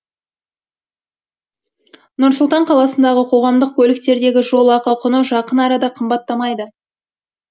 нұр сұлтан қаласында қоғамдық көліктердегі жол ақы құны жақын арада қымбаттамайды